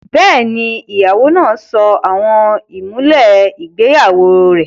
Bẹ́ẹ̀ni, ìyàwó náà sọ àwọn ìmùlẹ̀ ìgbéyàwó rẹ̀